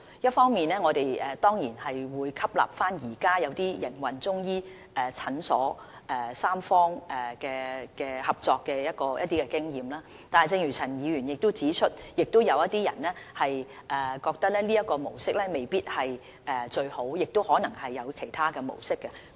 一方面，我們當然會吸納現時一些營運中醫診所的三方合作經驗，但亦正如陳議員指出，有些人認為這種模式未必最好，亦有可能會有其他的模式。